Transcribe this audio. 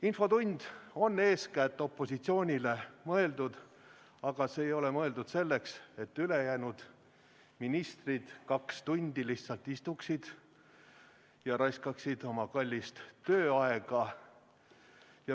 Infotund on eeskätt opositsioonile mõeldud, aga see ei ole mõeldud selleks, et ülejäänud ministrid kaks tundi lihtsalt istuvad ja raiskavad oma kallist tööaega.